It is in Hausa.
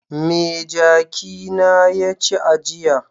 Me jaki na ya ci a jiya?